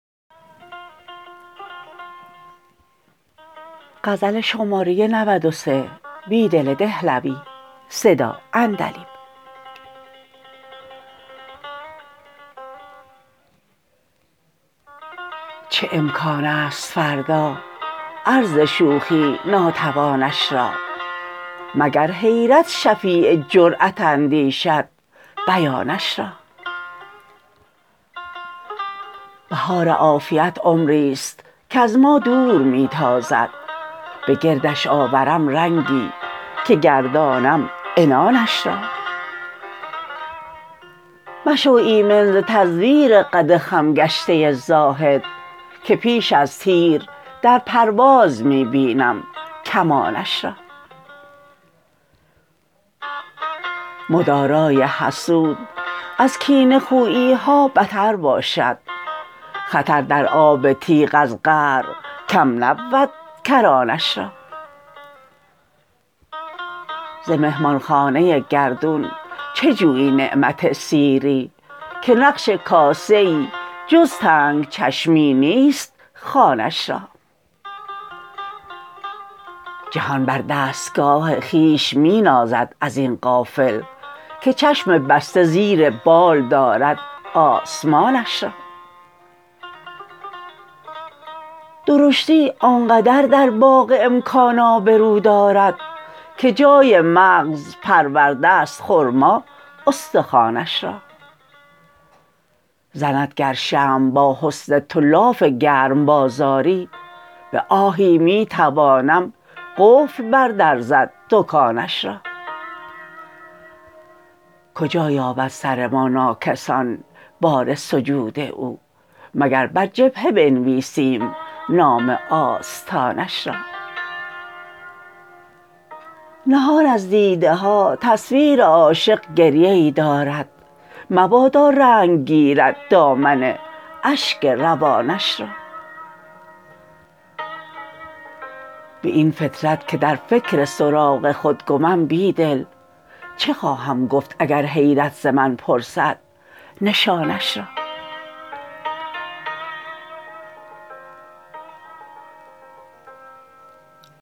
چه امکان است فردا عرض شوخی ناتوانش را مگر حیرت شفیع جرأت ندیشد بیانش را بهار عافیت عمری ست کز ما دور می تازد به گردش آورم رنگی که گردانم عنانش را مشو ایمن ز تزویر قد خم گشته زاهد که پیش از تیر در پرواز می بینم کمانش را مدارای حسود ازکینه خوییها بتر باشد خطر در آب تیغ از قعرکم نبودکرانش را ز مهماخانه گردون چه جویی نعمت سیری که نقش کاسه ای جزتنگ چشمی نیست خوانش را جهان بر دستگاه خویش می نازد ازین غافل که چشم بسته زیربال دارد آسمانش را درشتی آنقدر در باغ امکان آبرو دارد که جای مغزپرورده ست خرما استخوانش را زندگر شمع با حسن تو لاف گرم بازاری به آهی می توانم قفل بر درزد دکانش را کجا یابد سر ما ناکسان بار سجود او مگر برجبهه بنویسیم نام آستانش را نهان از دیده ها تصویر عاشق گریه ای دارد مبادا رنگ گیرد دامن اشک روانش را به این فطرت که درفکر سراغ خودگمم بیدل چه خواهم گفت اگر حیرت زمن پرسد نشانش را